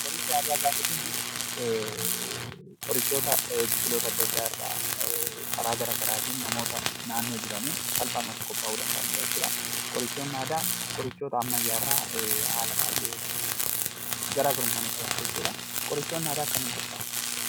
Qoricha aadaa gaafa jennu qorichoota biqiloota adda addaa irraa karaa garaagaraatiin namoota naannoo jiraniin salphaamatti qophaa'uu danda'anii dha jechuu dha. Qorichoonni aadaa qorichoota ammayyaa irraa haala baay'ee ta'een garaagarummaa ni qabaata jechuu dha. Qorichoonni aadaa akkamiin qophaa'u?